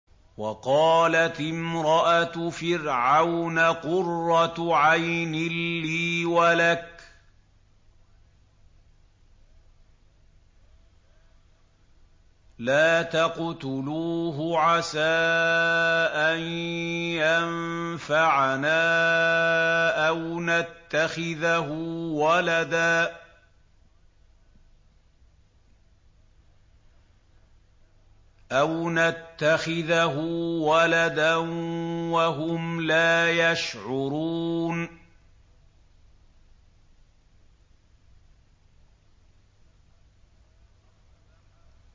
وَقَالَتِ امْرَأَتُ فِرْعَوْنَ قُرَّتُ عَيْنٍ لِّي وَلَكَ ۖ لَا تَقْتُلُوهُ عَسَىٰ أَن يَنفَعَنَا أَوْ نَتَّخِذَهُ وَلَدًا وَهُمْ لَا يَشْعُرُونَ